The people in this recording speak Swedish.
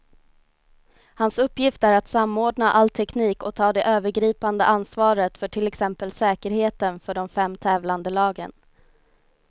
Hans uppgift är att samordna all teknik och ta det övergripande ansvaret för till exempel säkerheten för de fem tävlande lagen.